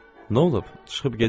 Nə olub, çıxıb gedir nədir?